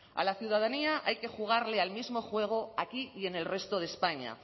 a la ciudadanía hay que jugarle al mismo juego aquí y en el resto de españa